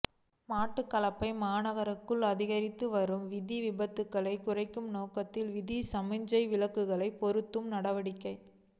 மட்டக்களப்பு மாநகருக்குள் அதிகரித்துவரும் வீதி விபத்துக்களை குறைக்கும் நோக்கில் வீதி சமிஞ்சை விளக்குகளை பொருத்தும் நடவடிக்கை